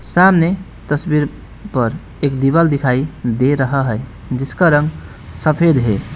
सामने तस्वीर पर एक दीवाल दिखाई दे रहा है जिसका रंग सफेद है।